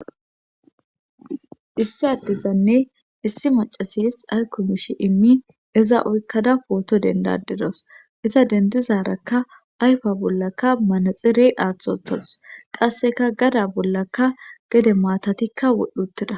Issi addizanne issi macasis aykumishi immi eza oykkada pooto dendadidos iza dendizarakka ayfa bollaka manaxirey aaththotadus qasseka gada bollaka gede maatatikka wodhdhuttida